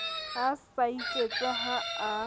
a sa iketse ha a